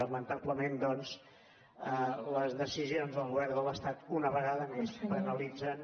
lamentablement doncs les decisions del govern de l’estat una vegada més penalitzen